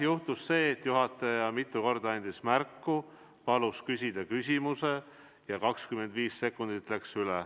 Juhtus see, et juhataja andis mitu korda märku ja palus küsida küsimuse, aga 25 sekundit läks üle.